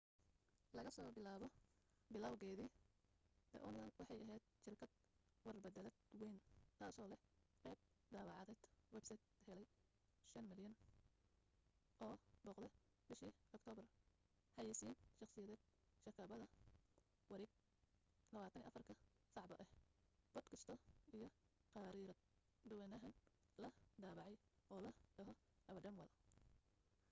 laga soo bilaabo bilowgeedii the onion waxay ahayd shirkad war beddeleed wayn taasoo leh qayb daabacadeed websayt helay 5,000,000 oo booqde bishii aktoobar xayaysiin shakhsiyeed shabakad wareed 24 ka saacba ah boodkaasti iyo khariirad dhowaanahan la daabacay oo la dhaho our dumb world